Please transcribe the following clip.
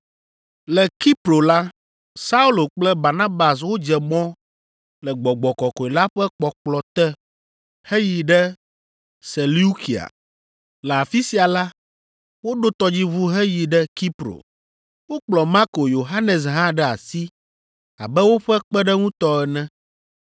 Le Kipro la, Saulo kple Barnabas wodze mɔ le Gbɔgbɔ Kɔkɔe la ƒe kpɔkplɔ te heyi ɖe Seleukia. Le afi sia la, woɖo tɔdziʋu heyi ɖe Kipro. Wokplɔ Marko Yohanes hã ɖe asi abe woƒe kpeɖeŋutɔ ene.